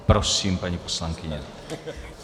Prosím, paní poslankyně.